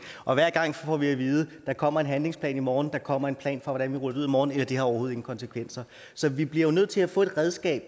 og hver gang får vi at vide der kommer en handlingsplan i morgen at der kommer en plan for hvordan vi ruller i morgen eller at det overhovedet konsekvenser så vi bliver jo nødt til at få et redskab